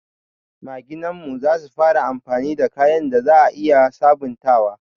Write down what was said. Maginan mu za su fara yin amfani da kayan da za a iya sabontawa.